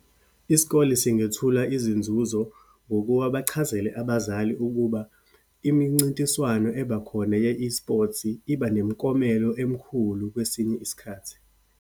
Isikole singethula izinzuzo ngokuba bachazele abazali ukuba imincintiswano ebakhona ye-esports-i, iba nemiklomelo emikhulu kwesinye isikhathi.